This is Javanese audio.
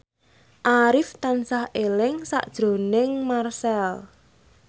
Arif tansah eling sakjroning Marchell